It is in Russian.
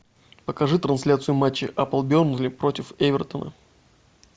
покажи трансляцию матча апл бернли против эвертона